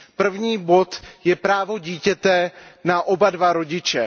První bod je právo dítěte na oba dva rodiče.